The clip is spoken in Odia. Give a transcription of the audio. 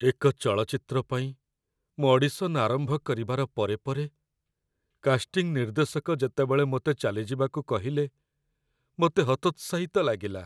ଏକ ଚଳଚ୍ଚିତ୍ର ପାଇଁ ମୁଁ ଅଡିସନ୍ ଆରମ୍ଭ କରିବାର ପରେ ପରେ କାଷ୍ଟିଂ ନିର୍ଦ୍ଦେଶକ ଯେତେବେଳ ମୋତେ ଚାଲିଯିବାକୁ କହିଲେ, ମୋତେ ହତୋତ୍ସାହିତ ଲାଗିଲା।